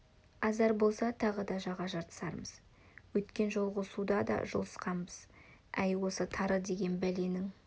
азар болса тағы да жаға жыртысармыз өткен жолғы суда да жұлқысқанбыз әй осы тары деген бәленің